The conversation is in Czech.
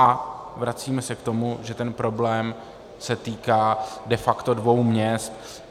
A vracíme se k tomu, že ten problém se týká de facto dvou měst.